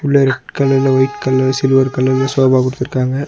உள்ள ரெட் கலர்ல ஒயிட்ட் கலர்ல சில்வர் கலர்ல சோஃபா குடுத்துருக்காங்க.